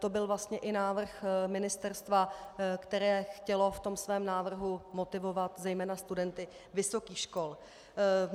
To byl vlastně i návrh ministerstva, které chtělo v tom svém návrhu motivovat zejména studenty vysokých škol.